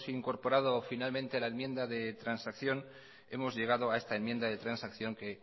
incorporado finalmente a la enmienda de transacción hemos llegado a esta enmienda de transacción que